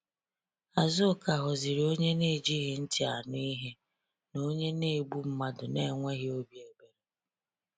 Azuka ghọziri onye na-ejighị ntị anụ ihe, na onye na-egbu mmadụ na-enweghị obi ebere.